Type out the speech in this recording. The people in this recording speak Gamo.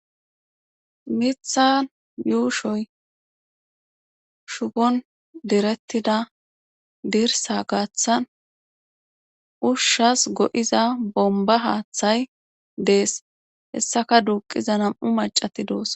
Mithan yuushoy shupon direttida dirsa gaaththan ushshas go7iza bomba haaththay dees hessaka duuqiza nam7u macati doos